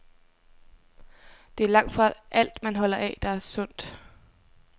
Det er langtfra alt, man holder af, der er sundt.